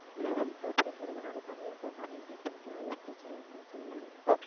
loan க்கு அப்படிங்கறதுனால தனி account ஆ maintain பண்ணிக்கலாம் எதுவும் பிரச்சனை இல்லைன்னு சொல்றேன்